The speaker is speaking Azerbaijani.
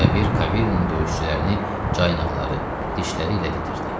Bəbir Kaverinin döyüşçülərini caynaqları, dişləri ilə didirdi.